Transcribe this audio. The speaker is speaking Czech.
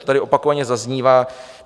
To tady opakovaně zaznívá.